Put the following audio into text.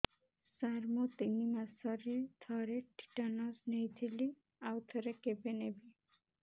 ସାର ମୁଁ ତିନି ମାସରେ ଥରେ ଟିଟାନସ ନେଇଥିଲି ଆଉ ଥରେ କେବେ ନେବି